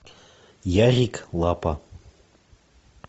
ярик лапа